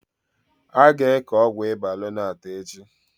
Aga eke Ọgwụ ịba lonart echi